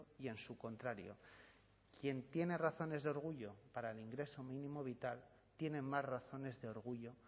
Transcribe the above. y en su contrario quien tiene razones de orgullo para el ingreso mínimo vital tiene más razones de orgullo